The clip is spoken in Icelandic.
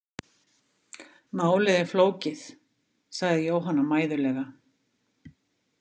Málið er flókið, sagði Jóhanna mæðulega.